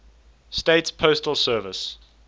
states postal service